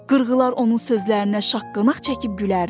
Qırğılar onun sözlərinə şaqqanaq çəkib gülərdi.